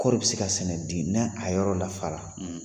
Kɔri bi se ka sɛnɛ di ni a yɔrɔ lafara ?